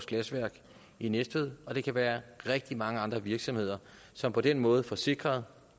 glasværk i næstved og det kan være rigtig mange andre virksomheder som på den måde får sikret